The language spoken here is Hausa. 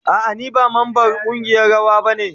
A'a ni ba mamban kungiyan rawa ba ne.